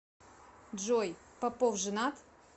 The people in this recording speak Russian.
джой попов женат